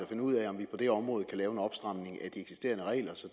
finde ud af om vi på det område kan lave en opstramning af de eksisterende regler så